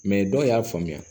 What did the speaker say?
dɔw y'a faamuya